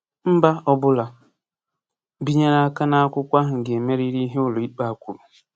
Mba ọbụla binyere aka n’akwụkwọ ahụ ga-emerịrị ihe ụlọikpe a kwuru.